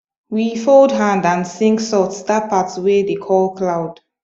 we fold hand and sing soft that part wey dey call cloud